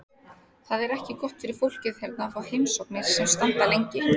Það er ekki gott fyrir fólkið hérna að fá heimsóknir sem standa lengi.